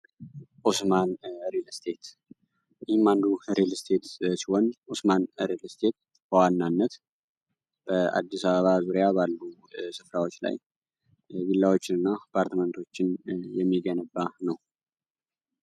ኦስማን ሪልስቴት ይህም አንዱ ሪልስቴት ሲሆን ዑስማን ሪልስቴት በዋናነት በአዲስ አበባ ባሉ ስፍራዎች ላይ ቪላዎችንና አፓርትመንቶችን የሚገነባ ነው።